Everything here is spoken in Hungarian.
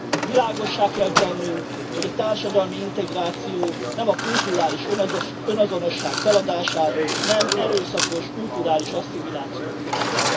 Világossá kell tennünk, hogy a társadalmi integráció nem a kulturális önazonosság feladását, nem erőszakos kulturális asszimilációt jelent.